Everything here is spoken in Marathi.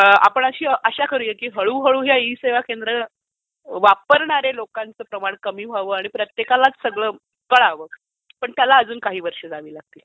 आपण आशा करूया की हळूहळू या ई सेवा केंद्र वापरणार् या लोकांचं प्रमाण कमी व्हावं पण त्याला अजून काही वर्ष जावी लागतील.